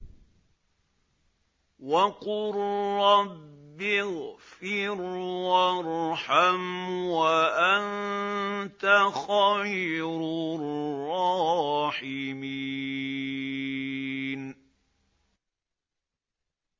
وَقُل رَّبِّ اغْفِرْ وَارْحَمْ وَأَنتَ خَيْرُ الرَّاحِمِينَ